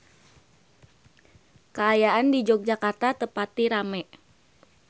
Kaayaan di Yogyakarta teu pati rame